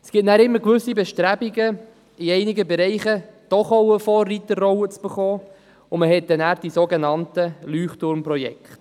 Es gibt immer gewisse Bestrebungen, sich in einigen Bereichen doch auch noch eine Vorreiterrolle zu verschaffen, so entstehen die sogenannten Leuchtturmprojekte.